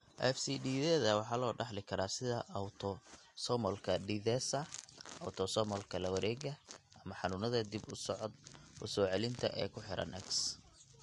FCD-yada waxaa loo dhaxli karaa sida autosomalka dithesa , autosomalka lawaregaya, ama xanuunada dib u soo celinta ee ku xiran X.